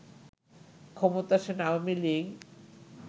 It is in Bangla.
ক্ষমতাসীন আওয়ামী লীগ